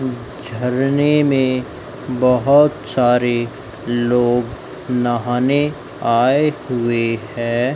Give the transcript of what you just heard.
झरने में बहोत सारे लोग नहाने आए हुए है।